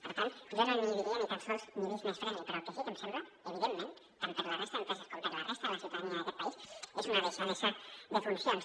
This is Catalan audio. per tant jo no en diria ni tan sols business friendly però el que sí que em sembla evidentment tant per a la resta d’empreses com per a la resta de la ciutadania d’aquest país és que és una deixadesa de funcions